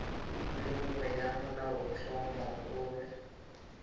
le nngwe ya molaotlhomo e